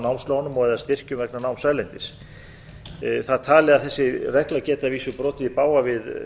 námslán og eða styrkjum vegna náms erlendis það er talið að þessi regla geti að vísu brotið í bága við